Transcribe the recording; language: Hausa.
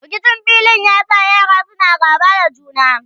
rikicin filin ya sa yaran suna gaba da juna